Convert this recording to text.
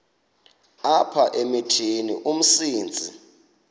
apha emithini umsintsi